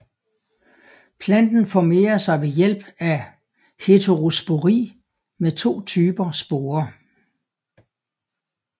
Planten formerer sig ved hjælp af heterospori med to typer sporer